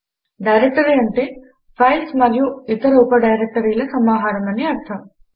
directory అంటే files మరియు ఇతర ఉప డైరెక్టరీల సమాహారం అని అర్ధం